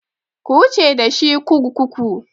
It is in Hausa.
Ku wuce da shi kurkuku!